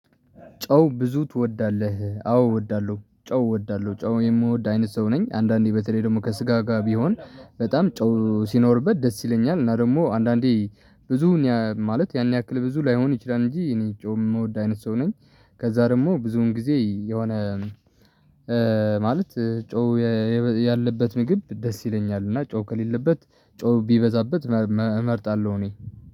ጨው ብዙ ትወዳለህ? አዎ እወዳለሁ ጨው እወዳለሁ ጨው የምወድ አይነት ሰው ነኝ አንዳንዴ በተለይ ደግሞ ከስጋ ጋር ቢሆን በጣም ጨው ሲኖርበት ደስ ይለኛል እና ደግሞ አንዳንዴ ብዙ ማለት ያን ያክል ብዙ ላይሆን ይችላል እንጂ እኔ ጨው ምወድ አይነት ሰው ነኝ። ከዛ ደግሞ ብዙውን ጊዜ የሆነ ማለት ጨው ያለበት ምግብ ደስ ይለኛል። እና ጨው ከሌለበት ጨው ቢበዛበት እመርጣለሁ። እኔ